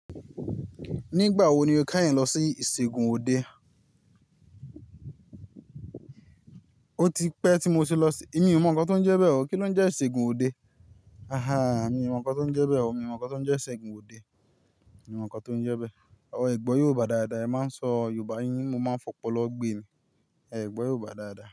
Nígbà wo ni o keyìn lọ sí ìṣègùn òde? Ó ti pẹ́ tí mo ti lọ si, Èmi ò mọ̀ nkan to ń jẹ bẹ o. Kí ló ń jẹ ìṣègùn òde? A haa, mi ò mọ̀ nnkan tó ń jẹ bẹ o. Mi ò mọ̀ nnkan tó ń jẹ ìṣègùn òde. Mi ò mọ̀ nnkan tó ń jẹ bẹ E gbọ́ Yorùbá dáadáa, ẹ máa sọ Yorùbá yín, mo máa ń fọ́pọ̀lọ́ gbe ni. E gbọ́ Yorùbá dáadáa.